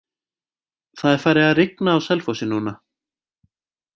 Það er farið að rigna á Selfossi núna.